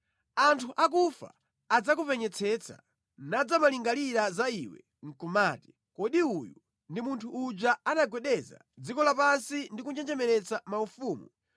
Anthu akufa adzakupenyetsetsa nadzamalingalira za iwe nʼkumati, “Kodi uyu ndi munthu uja anagwedeza dziko lapansi ndi kunjenjemeretsa maufumu,